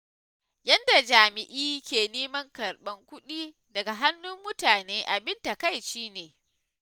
Yadda jami'i ke neman karɓar kuɗi daga hannun mutane abin takaici ne.